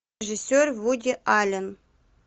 режиссер вуди аллен